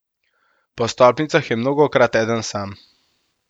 Po stolpnicah je mnogokrat eden sam.